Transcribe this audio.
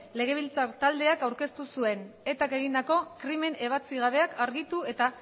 legebiltzar taldeak aurkeztu zuen etak egindako krimen ebatzi gabeak argitu eta